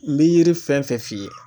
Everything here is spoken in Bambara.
N bɛ yiri fɛn fɛn f'i ye.